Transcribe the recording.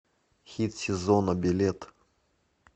хит сезона билет